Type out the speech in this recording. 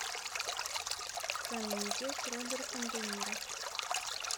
комедия с робертом де ниро